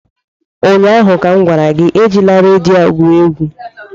ụnyaahụ m gwara gị, ejila redio a egwu egwu!